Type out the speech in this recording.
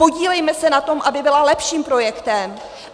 Podílejme se na tom, aby byla lepším projektem.